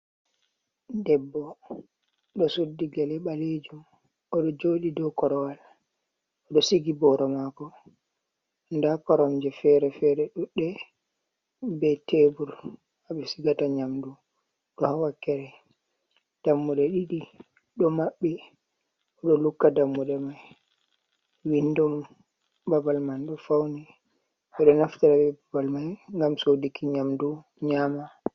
Ɗebbo ɗo suddi gele ɓaleejum, o ɗo jooɗii do korowal, o ɗo sigi booro maako, nda korom je fere-fere, ɗuɗɗe be tebur, haɓe sigata nyamdu, ɗo haa wakkere dammuɗe ɗiɗi ɗo maɓɓi, o ɗo lukka dammuɗe mai, windo babal man ɗo fauni, e ɗo naftira be babal mai ngam sodu ki nyamdu nyama.